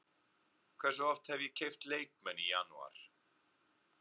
Hversu oft hef ég keypt leikmenn í janúar?